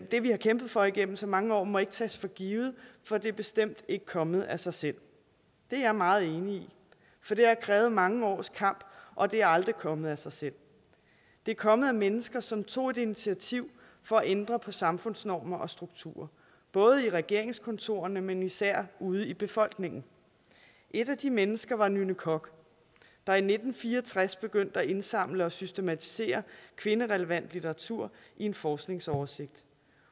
det vi har kæmpet for igennem så mange år må ikke tages for givet for det er bestemt ikke kommet af sig selv det er jeg meget enig i for det har krævet mange års kamp og det er aldrig kommet af sig selv det er kommet fra mennesker som tog et initiativ for at ændre på samfundsnormer og strukturer både i regeringskontorerne men især ude i befolkningen et af de mennesker var nynne koch der i nitten fire og tres begyndte at indsamle og systematisere kvinderelevant litteratur i en forskningsoversigt